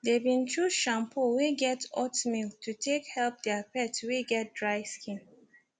they been choose shampoo wey get oatmeal to take help their pet wey get dry skin